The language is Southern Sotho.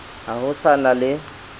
ha ho sa na le